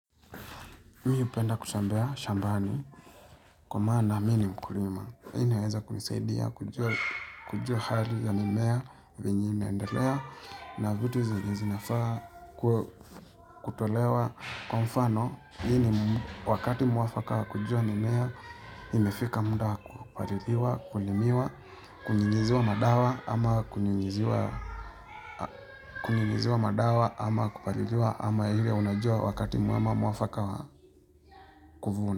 Mimi hupenda kutembea shambani kwa maana mimi ni mkulima. Hii inaweza kunisaidia kujua hali ya mimea vyenye inaendelea na vitu zenye zinafaa kutolewa kwa mfano. Hii ni wakati mwafaka wa kujua mimea imefika muda wa kupaliliwa, kulimiwa, kunyunyiziwa madawa ama kunyunyiziwa kunyunyiziwa madawa ama kupaliliwa ama ile unajua wakati mwema mwafaka wa kuvuna.